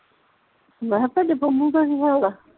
ਮੈਂ ਤੁਹਾਡੀ ਪੰਮੂ ਦਾ ਕੀ ਹਾਲ ਆ